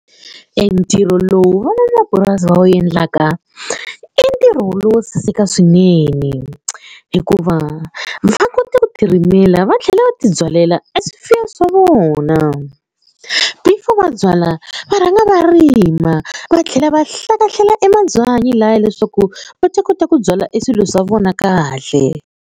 Entirho lowu van'wamapurasi va wu endlaka i ntirho lowu wo saseka swinene hikuva va kota ku ti rimela va tlhela va tibyalela eswilo swa vona before va byala va rhanga va rima va tlhela va hlakahlela emabyanyi laya leswaku va ta kota ku byala eswilo swa vona kahle.